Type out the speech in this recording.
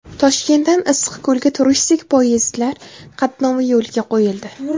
Toshkentdan Issiqko‘lga turistik poyezdlar qatnovi yo‘lga qo‘yildi.